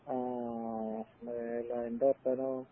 ആ അഹമ്മദേ എന്തപ്പെനു